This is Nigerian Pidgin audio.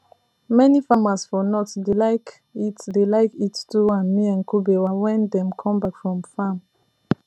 many farmers for north dey like eat dey like eat tuwo and miyan kubewa wen dem come back from farm